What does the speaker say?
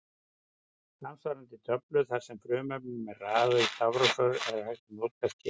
Samsvarandi töflu þar sem frumefnunum er raðað í stafrófsröð er hægt að nálgast hér.